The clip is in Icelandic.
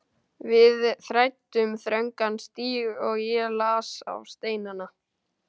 Við þræddum þröngan stíg og ég las á steinana.